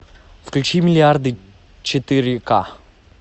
включи миллиарды четыре ка